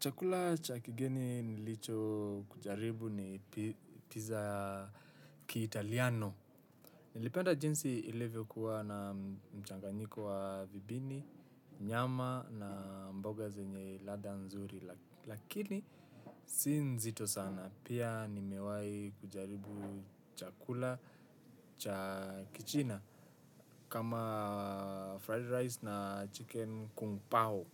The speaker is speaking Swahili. Chakula cha kigeni nilichokujaribu ni pizza ya kiitaliano. Nilipenda jinsi ilivyokuwa na mchanganyiko wa vipini, nyama na mboga zenye ladha nzuri. Lakini si nzito sana. Pia nimewahi kujaribu chakula cha kichina kama fried rice na chicken kung pao.